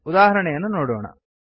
ಉದಾಹರಣೆಯನ್ನು ನೋಡೋಣ